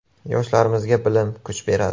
Yoshlarimizga bilim, kuch beradi.